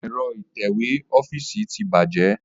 Ẹ̀rọ itẹ̀wẹ́ ọ́fíìsì tí bàjẹ́